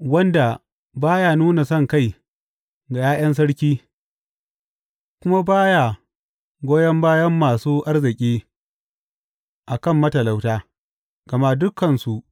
wanda ba ya nuna sonkai ga ’ya’yan sarki kuma ba ya goyon bayan masu arziki a kan matalauta, gama dukansu